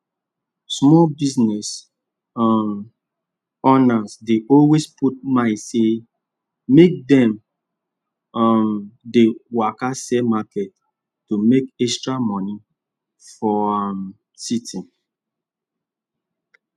small business um owners dey always put mind say make dem um dey waka sell market to make extra money for um city